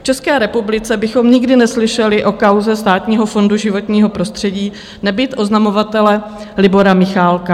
V České republice bychom nikdy neslyšeli o kauze Státního fondu životního prostředí, nebýt oznamovatele Libora Michálka.